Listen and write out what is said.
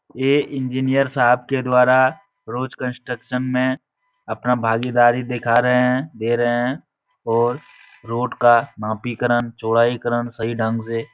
यह इंजिनियर साहब के द्वारा रोज कंस्ट्रक्शन में अपना भागीदारी दिखा रहे हैं। दे रहे हैं और रोड का मापिकरण चौड़ाईकरण सही ढंग से --